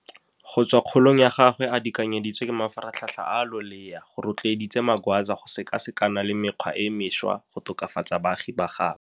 Go tswa kgolong ya gagwe a dikaganyeditswe ke mafaratlhatlha a a loleya, go rotloeditse Magwaza go sekasekana le mekgwa e mešwa go tokafatsa baagi ba gaabo.